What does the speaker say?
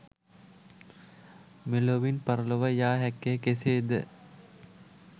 මෙලොවින් පරලොව යා හැක්කේ කෙසේද?